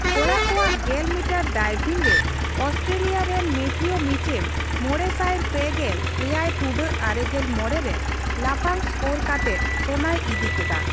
ᱠᱚᱲᱟ ᱠᱚᱣᱟᱜ ᱜᱮᱞ ᱢᱤᱴᱟᱨ ᱰᱟᱭᱵᱷᱤᱝ ᱨᱮ ᱚᱥᱴᱨᱮᱞᱤᱭᱟ ᱨᱮᱱ ᱢᱮᱛᱷᱤᱣ ᱢᱤᱪᱮᱢ ᱢᱚᱲᱮᱥᱟᱭ ᱯᱮᱜᱮᱞ ᱮᱭᱟᱭ ᱴᱩᱰᱟᱹᱜ ᱟᱨᱮᱜᱮᱞ ᱢᱚᱲᱮ ᱨᱮ ᱞᱟᱯᱷᱟᱝ ᱥᱠᱳᱨ ᱠᱟᱛᱮᱫ ᱥᱚᱱᱟᱭ ᱤᱫᱤ ᱠᱮᱫᱟ ᱾